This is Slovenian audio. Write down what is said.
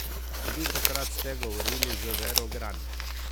Velikokrat ste govorili z Vero Gran.